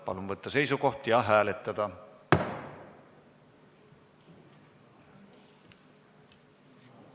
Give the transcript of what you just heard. Palun võtta seisukoht ja hääletada!